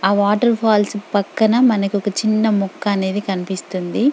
ఆ వాటర్ఫాల్స్ పక్కన మనకొక్క చిన్న మొక్క అనేది కనిపిస్తోంది.